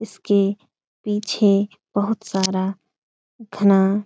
इसके पीछे बहुत सारा घना --